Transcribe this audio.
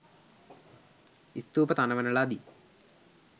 ස්තූප තනවන ලදී.